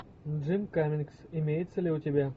джим каммингс имеется ли у тебя